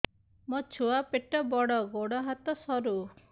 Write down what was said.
ମୋ ଛୁଆ ପେଟ ବଡ଼ ଗୋଡ଼ ହାତ ସରୁ